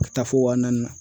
Ka taa fo wa naani na.